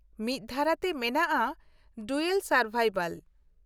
ᱢᱤᱫ ᱫᱷᱟᱨᱟᱛᱮ ᱢᱮᱱᱟᱜᱼᱟ 'ᱰᱩᱭᱟᱞ ᱥᱟᱨᱵᱟᱭᱵᱷᱟᱞ' ᱾